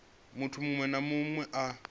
munthu muṅwe na muṅwe a